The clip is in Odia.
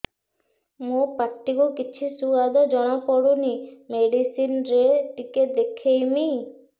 ମୋ ପାଟି କୁ କିଛି ସୁଆଦ ଜଣାପଡ଼ୁନି ମେଡିସିନ ରେ ଟିକେ ଦେଖେଇମି